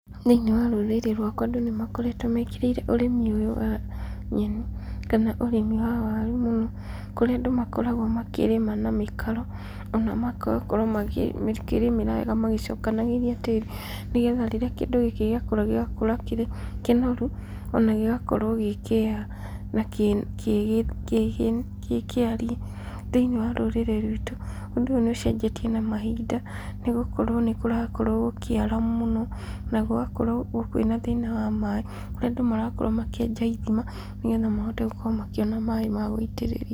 Thĩinĩ wa rũrĩrĩ rwakwa andũ nĩ makoretwo mekĩrĩire ũrĩmi ũyũ wa nyeni kana ũrĩmi wa waru mũno, kũrĩa andũ makoragwo makĩrĩma na mĩkaro, ona magakorwo makĩrĩmĩra wega magĩcokagĩrĩa tĩri, nĩgetha rĩrĩa kĩndũ gĩkĩ gĩa kũra gĩgakũra kĩrĩ kĩnoru ona gĩgakorwo gĩkĩega na gĩ gĩ gĩkĩarie. Thĩinĩ wa rũrĩrĩ rwitũ, ũndũ ũyũ nĩ ũcenjetie na mahinda, nĩ gũkorwo nĩ kũrakorwo gũkĩara mũno, na gũgakorwo kwĩna thĩna wa maĩ, kũrĩa andũ marakorwo makĩenja ithima, nĩgetha mahote gũkorwo makĩona maĩ ma gũitĩrĩria.